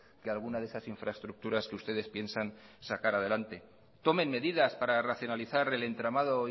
que alguna de esas infraestructuras que ustedes piensan sacar adelante tomen medidas para racionalizar el entramado